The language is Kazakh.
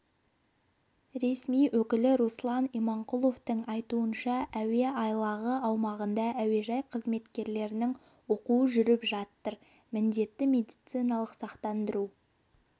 ресми өкілі руслан иманқұловтың айтуынша әуе айлағы аумағында әуежай қызметкерлерінің оқуы жүріп жатыр міндетті медициналық сақтандыру